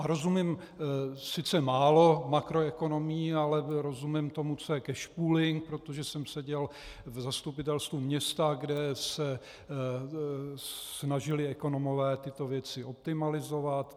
A rozumím sice málo makroekonomii, ale rozumím tomu, co je cash pooling, protože jsem seděl v zastupitelstvu města, kde se snažili ekonomové tyto věci optimalizovat.